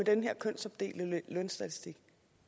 en kønsopdelt lønstatistik